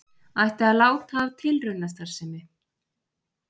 Ætti að láta af tilraunastarfsemi